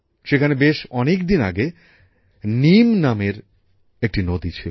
সেখানে বেশ অনেকদিন আগে নীম নামের একটি নদী ছিল